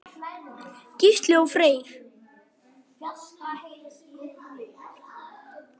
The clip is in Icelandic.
Gísli og Freyr.